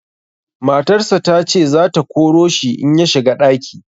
Matarsa ta ce za ta koro shi in ya shiga ɗaki.